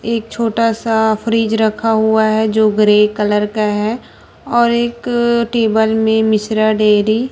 एक छोटा सा फ्रिज रखा हुआ है जो ग्रे कलर का है और एक टेबल में मिश्रा डेयरी --